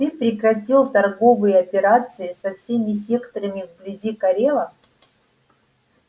ты прекратил торговые операции со всеми секторами вблизи корела